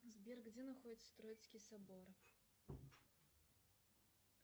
сбер где находится троицкий собор